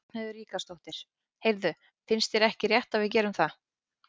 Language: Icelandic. Ragnheiður Ríkharðsdóttir: Heyrðu, finnst þér ekki rétt að við gerum það?